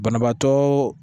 Banabaatɔ